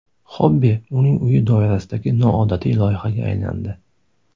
Xobbi uning uyi doirasidagi noodatiy loyihaga aylandi.